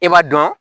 I b'a dɔn